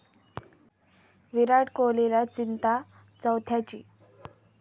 विराट कोहलीला चिंता 'चौथ्या'ची